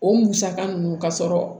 O musaka ninnu ka sɔrɔ